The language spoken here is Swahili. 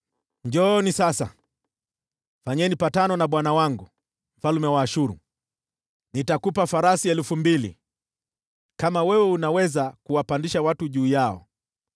“ ‘Njooni sasa, fanyeni mapatano na bwana wangu, mfalme wa Ashuru: Nitakupa farasi elfu mbili, kama unaweza kuwapandisha waendesha farasi juu yao!